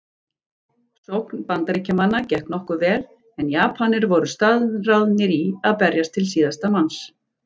Sókn Bandaríkjamanna gekk nokkuð vel en Japanir voru staðráðnir í að berjast til síðasta manns.